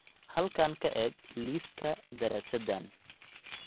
Halkan ka eeg liiska daraasaddan.